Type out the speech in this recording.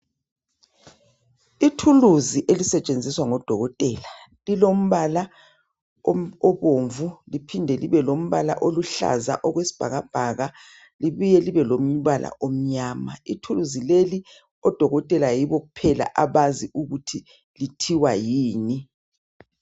Ithuluzi elisetshenziswa ngoDokotela. Lilombala obomvu liphinde libe lombala oluhlaza okwesibhakabhaka libuye libe lombala omnyama. Ithuluzi leli odokotela yibo kuphela abazi ukuthi lithiwa yini.